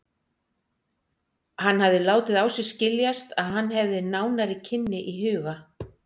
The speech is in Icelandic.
Hann hafði látið á sér skiljast, að hann hefði nánari kynni í huga.